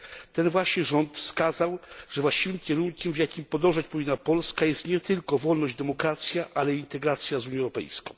Ten właśnie rząd wskazał, że właściwym kierunkiem, w jakim powinna podążać Polska, jest nie tylko wolność i demokracja, ale i integracja z Unią Europejską.